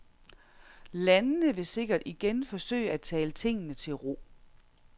Landene vil sikkert igen forsøge at tale tingene til ro.